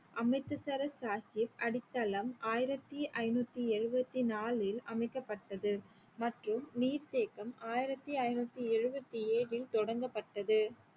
அமிர்தசரஸ் சாஹிப் அடித்தளம் ஆயிரத்தி ஐநூத்தி எழுவத்தி நாலில் அமைக்கப்பட்டது மற்றும் நீர்த்தேக்கம் ஆயிரத்தி ஐநூத்தி எழுவத்தி ஏழில் தொடங்கப்பட்டது